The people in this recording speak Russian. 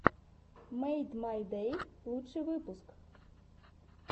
мэйдмайдэй лучший выпуск